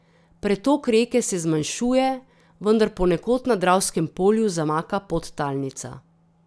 Pretok reke se zmanjšuje, vendar ponekod na Dravskem polju zamaka podtalnica.